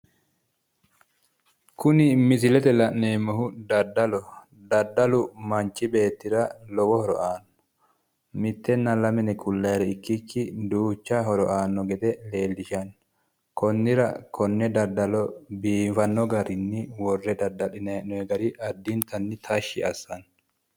Kuni misilete la'neemmohu daddaloho daddalu manchu beettira lowo horo aanno mittenna lame yine kullatire ikkikki duuchcha horo aanno gede leellishanno konnira konne daddalo biifano garinni worre daddalinayi hee'noyi gari addintanni tashshi assanno